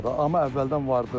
Amma əvvəldən vardı.